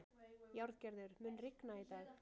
Járngerður, mun rigna í dag?